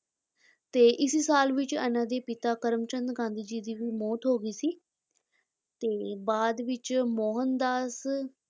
ਤੇ ਇਸੇ ਸਾਲ ਵਿੱਚ ਇਹਨਾਂ ਦੇ ਪਿਤਾ ਕਰਮਚੰਦ ਗਾਂਧੀ ਜੀ ਦੀ ਵੀ ਮੌਤ ਹੋ ਗਈ ਸੀ, ਤੇ ਬਾਅਦ ਵਿੱਚ ਮੋਹਨ ਦਾਸ